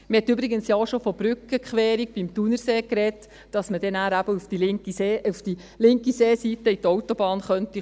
Man hat ja übrigens auch schon von einer Brückenquerung beim Thunersee gesprochen, damit man dann eben auf die linke Seeseite und auf die Autobahn gelangen könnte.